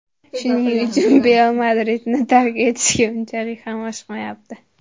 Shuning uchun Beyl Madridni tark etishga unchalik ham oshiqmayapti.